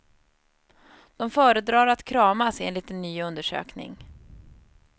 De föredrar att kramas, enligt en ny undersökning.